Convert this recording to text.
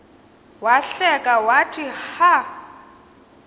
wahleka wathi ha